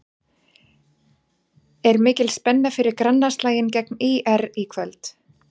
Er mikil spenna fyrir grannaslaginn gegn ÍR í kvöld?